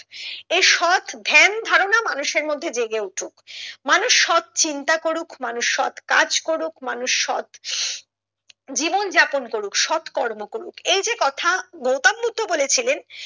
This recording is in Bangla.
এই সৎ ধ্যান ধারণা মানুষের মধ্যে জেগে উঠুক মানুষ সৎ চিন্তা করুক মানুষ সৎ কাজ করুক মানুষ সৎ জীবন যাপন করুক সৎ কর্ম করুক এই কথা গৌতম বুদ্ধ বলেছিলেন